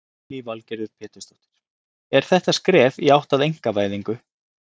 Lillý Valgerður Pétursdóttir: Er þetta skref í átt að einkavæðingu?